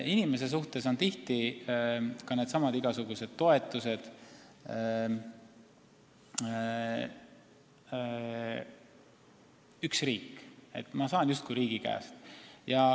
Inimese seisukohalt on tihti ka nendesamade igasuguste toetuste puhul nii, et on üks riik ja ma saan neid justkui riigi käest.